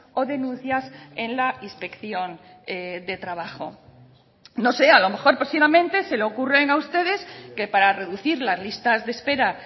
o denuncias en la inspección de trabajo no sé a lo mejor próximamente se le ocurren a ustedes que para reducir las listas de espera